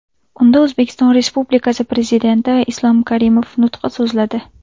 Unda O‘zbekiston Respublikasi Prezidenti Islom Karimov nutq so‘zladi.